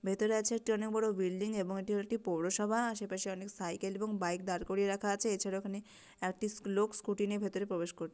ভেতরে আছে একটি অনেক বড় বিল্ডিং এবং এটি হল একটি পৌরসভা আশেপাশে অনেক সাইকেল এবং বাইক দাঁড় করিয়ে রাখা আছে এছাড়াও ওখানে একটি লোক স্কুলটি নিয়ে ভেতরে প্রবেশ কর--